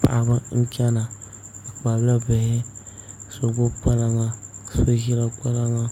Paɣaba n chɛna bi kpabila bihi ka so gbubi kpalaŋa